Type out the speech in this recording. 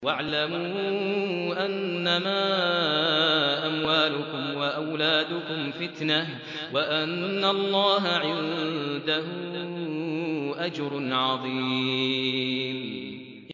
وَاعْلَمُوا أَنَّمَا أَمْوَالُكُمْ وَأَوْلَادُكُمْ فِتْنَةٌ وَأَنَّ اللَّهَ عِندَهُ أَجْرٌ عَظِيمٌ